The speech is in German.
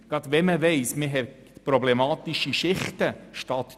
Dies insbesondere wenn man weiss, dass problematische Schichten vorhanden sind.